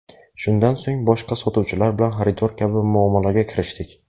Shundan so‘ng boshqa sotuvchilar bilan xaridor kabi muomalaga kirishdik.